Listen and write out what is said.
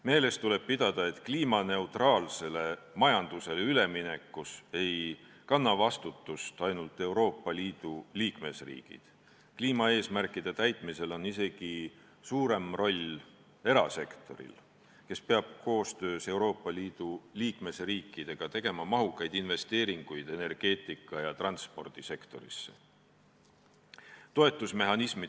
Meeles tuleb pidada, et kliimaneutraalsele majandusele ülemineku eest ei kanna vastutust ainult Euroopa Liidu liikmesriigid, kliimaeesmärkide täitmisel on isegi suurem roll erasektoril, kes peab koostöös Euroopa Liidu liikmesriikidega tegema mahukaid investeeringuid energeetika- ja transpordisektorisse.